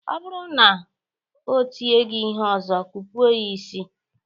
Ọ bụrụ na o tie gị ihe ọzọ, kụpụọ ya ịsị!